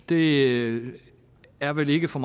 det er vel ikke for